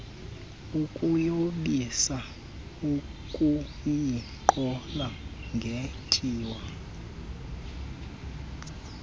ukuyomisa ukuyiqhola ngetyiwa